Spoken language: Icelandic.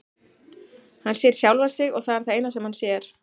Hann sér sjálfan sig og það er það eina sem hann sér.